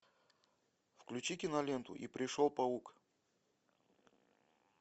включи киноленту и пришел паук